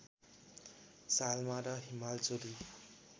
सालमा र हिमालचुली